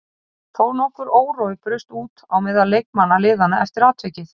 Þó nokkur órói braust út á meðal leikmanna liðanna eftir atvikið.